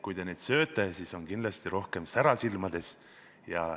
Kui te neid sööte, siis on kindlasti rohkem sära silmades.